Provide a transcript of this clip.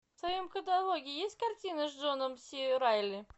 в твоем каталоге есть картины с джоном си райли